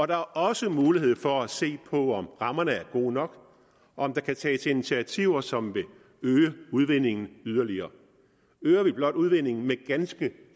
der er også mulighed for at se på om rammerne er gode nok om der kan tages initiativer som vil øge udvindingen yderligere øger vi blot udvindingen med ganske